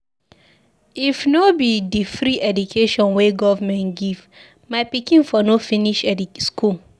If no be di free education wey government give, my pikin for no finish school.